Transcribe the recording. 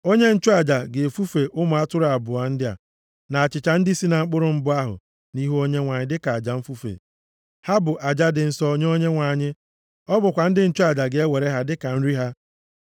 Onye nchụaja ga-efufe ụmụ atụrụ abụọ ndị a, na achịcha ndị si na mkpụrụ mbụ ahụ nʼihu Onyenwe anyị dịka aja mfufe. Ha bụ aja dị nsọ nye Onyenwe anyị. Ọ bụkwa ndị nchụaja ga-ewere ha dịka nri ha.